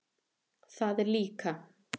Það er líka.